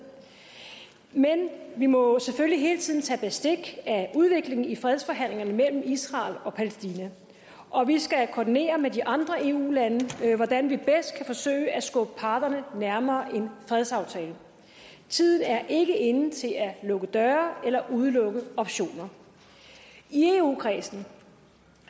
men vi må selvfølgelig hele tiden tage bestik af udviklingen i fredsforhandlingerne mellem israel og palæstina og vi skal koordinere med de andre eu lande hvordan vi bedst kan forsøge at skubbe parterne nærmere en fredsaftale tiden er ikke inde til at lukke døre eller udelukke optioner i eu kredsen